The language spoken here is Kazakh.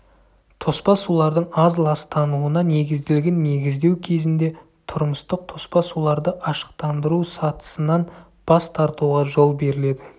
тоспа сулардың аз ластануына негізделген негіздеу кезінде тұрмыстық тоспа суларды ашықтандыру сатысынан бас тартуға жол беріледі